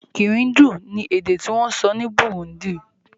Kirundi ni èdè ti wón sọ ni Burundi